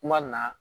Kuma na